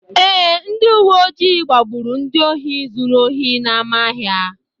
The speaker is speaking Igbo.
Ee, ndị uwe ojii gbagburu ndị ohi zuru ohi n’ámá ahịa.